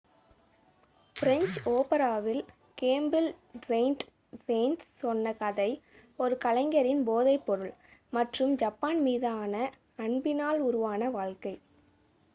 "French ஓபராவில் Camille Saint Saens சொன்ன கதை ஒரு கலைஞரின் "போதைப்பொருள் மற்றும் ஜப்பான் மீதான அன்பினால் உருவான வாழ்க்கை.""